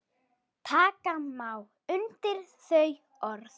Taka má undir þau orð.